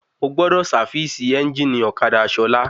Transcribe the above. Mo gbọ́dọ̀ sávìsì ẹ́njìnì ọ̀kadà Sola